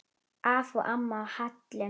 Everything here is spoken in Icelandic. Afi og amma á Hellum.